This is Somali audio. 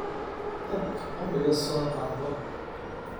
Tag qoryo soo qaado.